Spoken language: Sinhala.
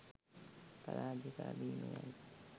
පාරාජිකා වීම යනු